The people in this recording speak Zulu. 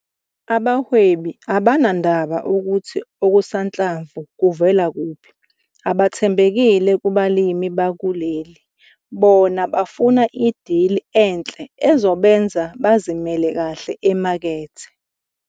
Abahwebi abanandaba ukuthi okusanhlamvu kuvela kuphi, abathembekile kubalimi bakuleli, bona bafuna idili enhle ezobenza bazimele kahle emakethe.